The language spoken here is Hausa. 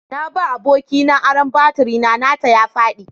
Na ba abokina aron baturi na, nata ya faɗi.